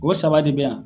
O saba de bɛ yan